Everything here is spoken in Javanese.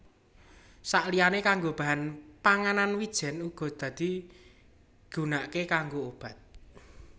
Saliyané kanggo bahan panganan wijèn uga bisa digunakaké kanggo obat